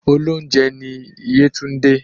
Olóunjẹ ni yétúndé